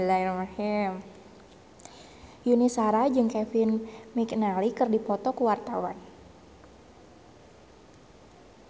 Yuni Shara jeung Kevin McNally keur dipoto ku wartawan